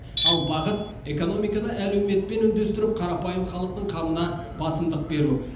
ал бағыт экономиканы әлеуметпен үндестіріп қарапайым халықтың қамына басымдық беру